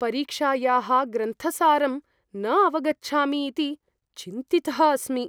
परीक्षायाः ग्रन्थसारं न अवगच्छामि इति चिन्तितः अस्मि।